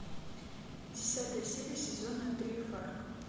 десятая серия сезона три фарго